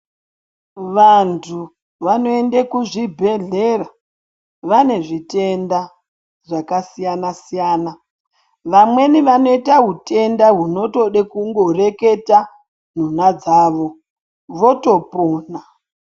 Vantu vanoende kuzvibhedhlera vane zvitenda zvakasiyana siyana vamweni vane hutenda hunotode kungoreketa nhonha dzavo votopona